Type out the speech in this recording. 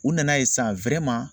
U nana ye sisan